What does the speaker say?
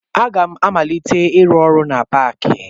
Aga m amalite ịrụ ọrụ na paakị